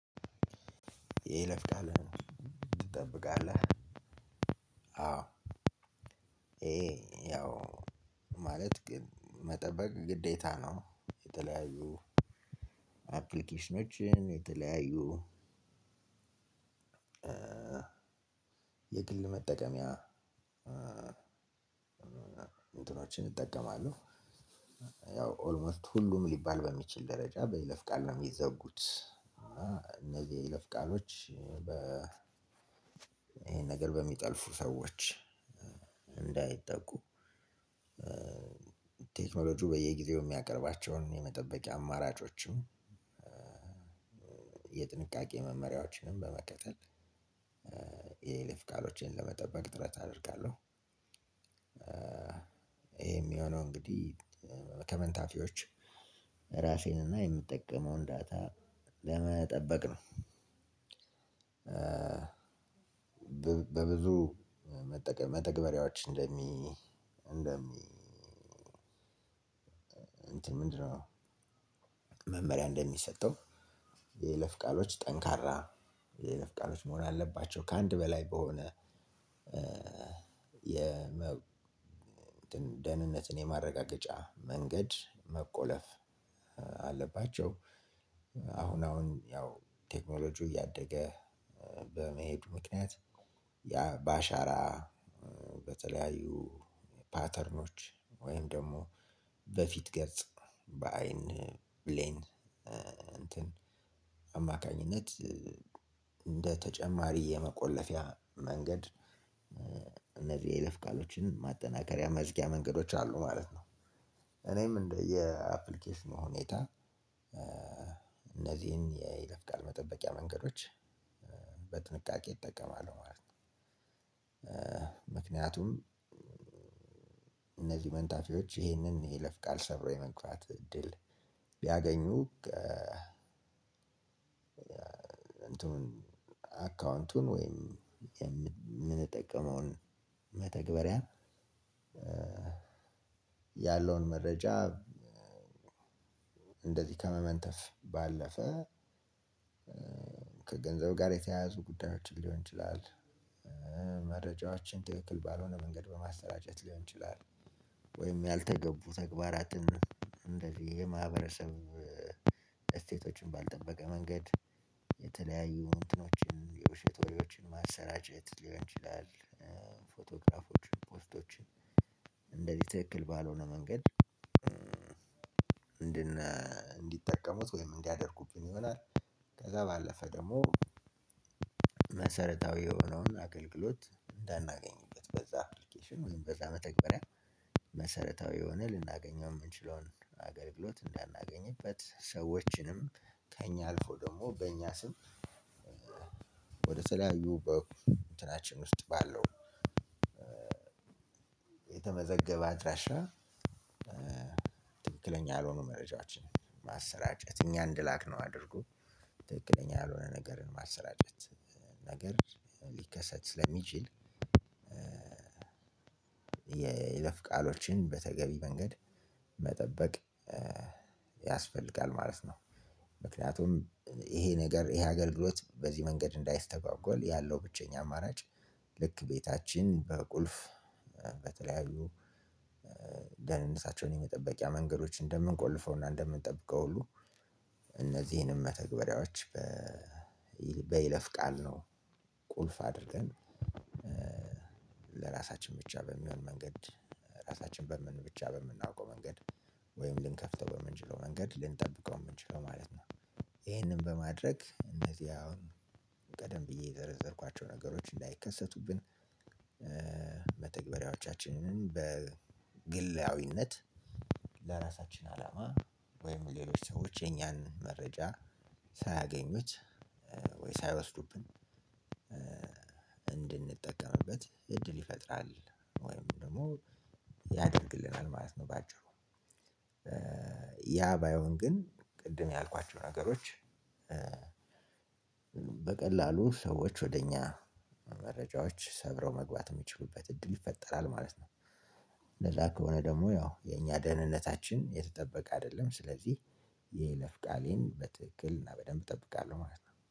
የይለፍ ቃለህን ትጠብቃለህ? አዎ። ይሄ ያው ማለት ግን መጠበቅ ግዴታ ነው። የተለያዩ አፕሊኬሽኖችን፣ የተለያዩ የግል መጠቀምያ እንትኖችን እጠቀማለሁ። ያው ኦልሞስት ሁሉም ሊባል በሚችል ደረጃ በይለፍ ቃል ነው የሚዘጉት። እና እነዚህ የይለፍ ቃሎች በ ይሄን ነገር በሚጠልፉ ሰዎች እንዳይጠቁ ቴክኖሎጂው በየጊዜው የሚያቀርባቸውን የመጠበቂያ አማራጮችም፤ የጥንቃቄ መመሪያዎችንም በመከተል የይለፍ ቃሎቼን ለመጠበቅ ጥረት አደርጋለሁ። ይሄም የሆነው እንግዲህ ከመንታፊዎች ራሴን እና የምጠቀመውን ዳታ ለመጠበቅ ነው። በብዙ መተግበሪያዎች እንደሚ እንደሚ እንትን ምንድነው? መመሪያ እንደሚሰጠው የይለፍ ቃሎች ጠንካራ፤ የይለፍ ቃሎች መሆን ያለባቸው ከአንድ በላይ በሆነ እንትን ደህንነትን የማረጋገጫ መንገድ መቆለፍ አለባቸው። አሁን አሁን ያው ቴክኖሎጂው እያደገ በመሄዱ ምክንያት ያ በአሻራ፤ በተለያዩ ፓተርኖች ወይም ደግሞ በፊት ገጽ፤ በአይን ብሌን እንትን አማካኝነት እንደ ተጨማሪ የመቆለፊያ መንገድ እነዚህ የይለፍ ቃሎችን ማጠናከሪያ፤ መዝጊያ መንገዶች አሉ ማለት ነው። እኔም እንደየ አፕሊኬሽኑ ሁኔታ እነዚህን የይለፍ ቃል መጠበቂያ መንገዶች በጥንቃቄ እጠቀማለሁ ማለት ነው። ምክንያቱም መንታፊዎች ይሄንን የይለፍ ቃል ሰብረው የመግባት እድል ቢያገኙ አካውንቱን ወይም የምንጠቀመውን መተግበሪያ ያለውን መረጃ እንደዚህ ከመመንተፍ ባለፈ ከገንዘብ ጋር የተያያዙ ጉዳዮችን ሊሆን ይችላል። መረጃዎችን ትክክል ባልሆነ መንገድ በማሰራጨት ሊሆን ይችላል፤ ወይም ያልተገቡ ተግባራትን እንደዚህ የማህበረሰብ እሴቶችን ባልጠበቀ መንገድ፤ የተለያዩ እንትኖችን የውሸት ወሬዎችን ማሰራጨት ሊሆን ይችላል። ፎቶግራፎችን፣ ፖስቶችን፣ እንደዚህ ትክክል ባልሆነ መንገድ እንዲጠቀሙት ወይም እንዲያደርጉብኝ ይሆናል። ከዛ ባለፈ ደግሞ መሰረታዊ የሆነውን አገልግሎት እንዳናገኝበት በዛ አፕሊኬሽን ወይም በዛ መተግበሪያ መሰረታዊ የሆነ ልናገኘው የምንችለውን አገልግሎት እንዳናገኝበት፤ ሰዎችንም ከእኛ አልፎ ደግሞ በእኛ ስም ወደ ተለያዩ በእንትናችን ውስጥ ባለው የተመዘገበ አድራሻ ትክክለኛ ያልሆኑ መረጃዎችንን ማሰራጨት እኛ እንደላክነው አድርጎ ትክክለኛ ያልሆነ ነገርን ማሰራጨት ነገር ሊከሰት ስለሚችል ይለፍ ቃሎችን በተገቢ መንገድ መጠበቅ ያስፈልጋል ማለት ነው። ምክንያቱም ይሄ ነገር ይሄ አገልግሎት በዚህ መንገድ እንዳይስተጓጎል ያለው ብቸኛ አማራጭ ልክ ቤታችን በቁልፍ፤ በተለያዩ ደህንነታቸውን የመጠበቂያ መንገዶች እንደምንቆልፈውና እንደምንጠብቀው ሁሉ እነዚህንም መተግበሪያዎች በይለፍ ቃል ነው ቁልፍ አድርገን ለራሳችን ብቻ በሚሆን መንገድ ራሳችን በምን ብቻ በምናውቀው መንገድ ወይም ልንከፍተው በምንችለው መንገድ ልንጠብቀው የምንችለው ማለት ነው። ይሄንን በማድረግ እነዚህ አሁን ቀደም ብዬ የዘረዘርኳቸው ነገሮች እንዳይከሰቱብን መተግበሪያዎቻችንን በግላዊነት ለራሳችን አላማ ወይም ሌሎች ሰዎች የኛን መረጃ ሳያገኙት ወይም ሳየወስዱብን እንድንጠቀምበት እድል ይፈጥራል ወይም ደግሞ ያደርግልናል ማለት ነው በአጭሩ ያ ባይሆን ግን ቅድም ያልኳቸው ነገሮች በቀላሉ ሰዎች ወደ እኛ መረጃዎች ሰብረው መግባት የሚችሉበት እድል ይፈጠራል ማለት ነው። እንደዛ ከሆነ ደግሞ ያው የኛ ደህንነታችን የተጠበቀ አይደለም። ስለዚህ የይለፍ ቃሌን በትክክል እና በደንብ እጠብቃለሁ ማለት ነው።